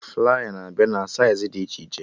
Flaya na-abịa na saịz dị iche iche